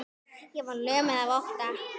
Ég var lömuð af ótta.